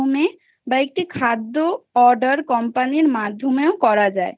বা একটি খাদ্য rrder company company মাধ্যমে করা যায়